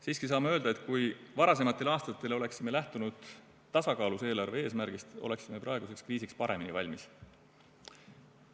Siiski saame öelda, et kui varasematel aastatel oleksime lähtunud tasakaalus eelarve eesmärgist, oleksime praeguseks kriisiks paremini valmis olnud.